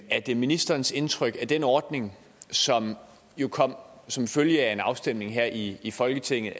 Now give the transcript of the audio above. er det ministerens indtryk at den ordning som jo kom som følge af en afstemning her i i folketinget